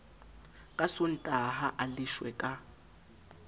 ka sontaha a leshwe ka